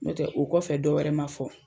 N'o tɛ o kɔfɛ dɔ wɛrɛ ma fɔ